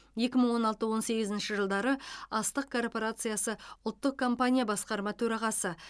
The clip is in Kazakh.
екі мың он алты он сегізінші жылдары астық корпорациясы ұлттық компания басқарма төрағасы